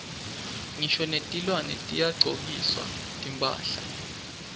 ngisho netilwane tiyagcokiswa timphahla